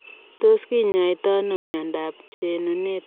Tos kinyoitoo anoo miondoop chununetap keleek?